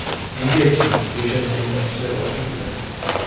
Negaki bo‘shashganda ishlar ortga ketadi.